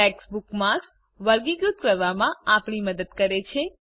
tags bookmarks વર્ગીકૃત કરવામાં આપણી મદદ કરે છે